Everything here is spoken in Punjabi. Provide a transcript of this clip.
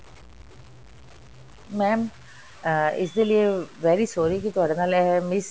mam ਅਹ ਇਸਦੇ ਲਈ very sorry ਕੀ ਤੁਹਾਡੇ ਨਾਲ ਐਵੇਂ miss